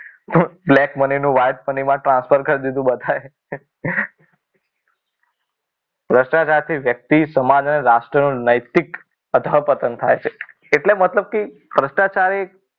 black money નો white money મા transfer કરી દીધું બધાય. ભ્રષ્ટાચાર થી વ્યક્તિ સમાજ અને રાષ્ટ્રનું નૈતિક અધરપતન થાય છે એટલે મતલબ કે ભ્રષ્ટાચાર એક